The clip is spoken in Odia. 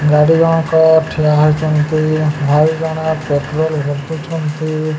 ଗାଡ଼ି ଜଣକ ଠିଆ ହେଇଚନ୍ତି ଭାଇ ଜଣ ପେଟ୍ରୋଲ ବିକୁଛନ୍ତି।